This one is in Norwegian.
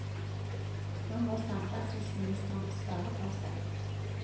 Nå må samferdselsministeren svare for seg.